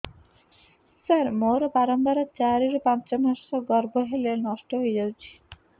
ସାର ମୋର ବାରମ୍ବାର ଚାରି ରୁ ପାଞ୍ଚ ମାସ ଗର୍ଭ ହେଲେ ନଷ୍ଟ ହଇଯାଉଛି